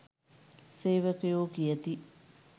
සේවකයෝ කියති